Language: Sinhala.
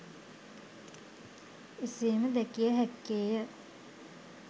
එසේම දැකිය හැක්කේය